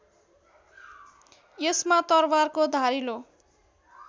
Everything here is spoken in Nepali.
यसमा तरवारको धारिलो